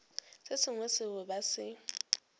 se sengwe seo ba se